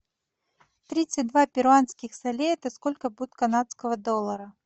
тридцать два перуанских солей это сколько будет канадского доллара